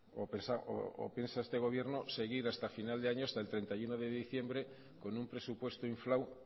o piensa este gobierno seguir hasta final de año hasta el treinta y uno de diciembre con un presupuesto inflado